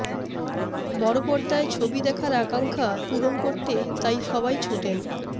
বড় পর্দায় ছবি দেখার আকাঙ্ক্ষা পূরণ করতে তাই সবাই ছোটেন